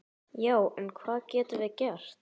Já, en hvað getum við gert?